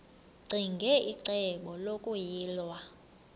ccinge icebo lokuyilwa